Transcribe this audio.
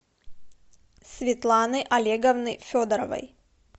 светланы олеговны федоровой